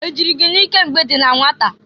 E jịrị gị n'ike mgbe i dị na nwata?